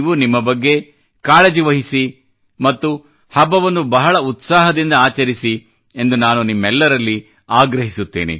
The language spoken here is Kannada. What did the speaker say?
ನಿಮ್ಮ ಬಗ್ಗೆ ನೀವು ಕಾಳಜಿ ವಹಿಸಿ ಮತ್ತು ಹಬ್ಬವನ್ನು ಬಹಳ ಉತ್ಸಾಹದಿಂದ ಆಚರಿಸಿ ಎಂದು ನಾನು ನಿಮ್ಮೆಲ್ಲರಲ್ಲಿ ಆಗ್ರಹಿತ್ತೇನೆ